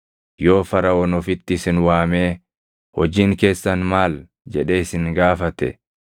Yoo Faraʼoon ofitti isin waamee, ‘Hojiin keessan maal?’ jedhee isin gaafate,